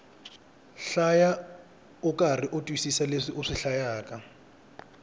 hlaya ukarhi u twisisa leswi u hlayaku